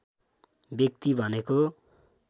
व्यक्ति भनेको